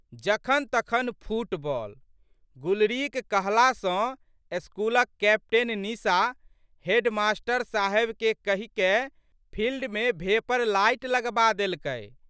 जखनतखन football. गुलरीक कहला सँ स्कूलक कैप्टेन निशा हेडमास्टर साहेबकेँ कहिकए फिल्डमे भेपर लाइट लगबा देलकै।